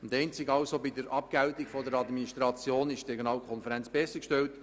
Die Regionalkonferenz ist einzig bei der Abgeltung der Administration besser gestellt;